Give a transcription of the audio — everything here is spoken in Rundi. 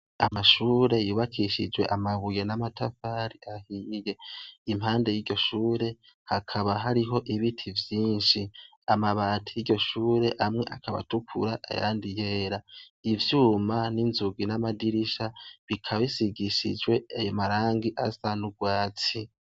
Amashure yubakushijwe amabuye n’amatafari ahiye, impande y’iryo shure, hakaba hariho ibiti vyinshi, amabati yiryo shure amwe akaba atukura, ayandi yera, ivyuma n’inzugi n’amadirisha bikaba bisigishijwe ayo marangi asa n’urwatsi.